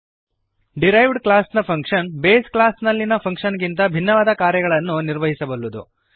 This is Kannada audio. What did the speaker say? ಡಿರೈವ್ಡ್ ಕ್ಲಾಸ್ನ ಫಂಕ್ಶನ್ ಬೇಸ್ ಕ್ಲಾಸ್ನಲ್ಲಿಯ ಫಂಕ್ಶನ್ ಗಿಂತ ಭಿನ್ನವಾದ ಕಾರ್ಯಗಳನ್ನು ನಿರ್ವಹಿಸಬಲ್ಲದು